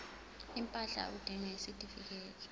impahla udinga isitifikedi